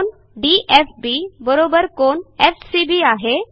कोन DFB कोन FCB आहे